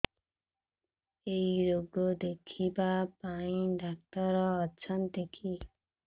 ଏଇ ରୋଗ ଦେଖିବା ପାଇଁ ଡ଼ାକ୍ତର ଅଛନ୍ତି କି